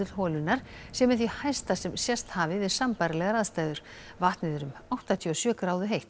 holunnar sé með því hæsta sem sést hafi við sambærilegar aðstæður vatnið er um áttatíu og sjö gráðu heitt